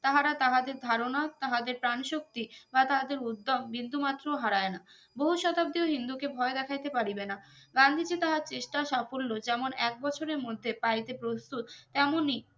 তাহারা তাহাদের ধারনা তাহাদের ত্রান শক্তি বা তাহাদের উদ্দোম বিন্দু মাত্র হারায় না বহু শতাব্দীয় হিন্দু কে ভয় দেখাইতে পারিবেনা গান্ধীজি তাহার চেষ্টা সাফল্য যেমন এক বছরের মধ্যে পাইতে প্রস্তুত তেমনি